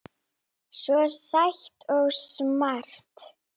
Svo sæt og smart.